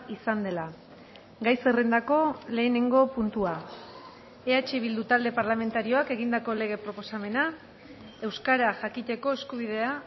izan dela gai zerrendako lehenengo puntua eh bildu talde parlamentarioak egindako lege proposamena euskara jakiteko eskubidea